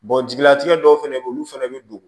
jigilatigɛ dɔw fɛnɛ be ye olu fɛnɛ bi don